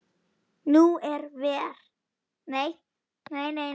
Nú eða verr.